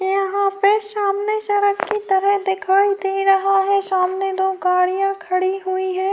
یہاں پر سامنے سڑک کی طرح دکھائی دے رہا ہے۔ سامنے دو گاڑیاں کھڑی ہیں-